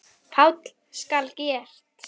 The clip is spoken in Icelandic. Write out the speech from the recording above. PÁLL: Skal gert!